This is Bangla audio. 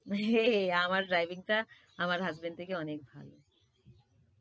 হেঁহেঁ, আমার driving টা আমার husband থেকে অনেক ভাল।